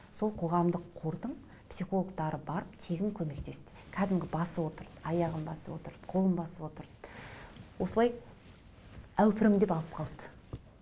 сол қоғамдық қордың психологтары барып тегін көмектесті кәдімгі басып отырды аяғын басып отырды қолын басып отырды осылай әупірімдеп алып қалды